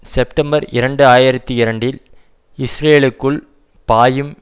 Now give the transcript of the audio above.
September இரண்டு ஆயிரத்தி இரண்டில் இஸ்ரேலுக்குள் பாயும்